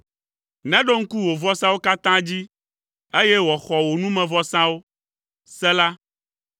Neɖo ŋku wò vɔsawo katã dzi, eye wòaxɔ wò numevɔsawo. Sela